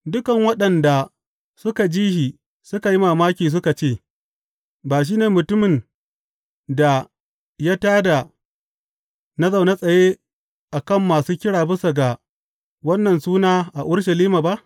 Dukan waɗanda suka ji shi suka yi mamaki suka ce, Ba shi ne mutumin da ya tā da na zaune tsaye a kan masu kira bisa ga wannan sunan a Urushalima ba?